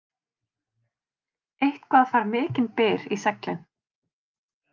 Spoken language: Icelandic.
Eitthvað fær mikinn byr í seglin